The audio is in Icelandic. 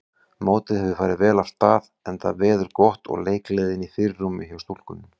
Mótið hefur farið vel af stað enda veður gott og leikgleðin í fyrirrúmi hjá stúlkunum.